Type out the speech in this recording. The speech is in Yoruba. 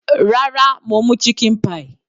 Rárá, mo mú chicken pie.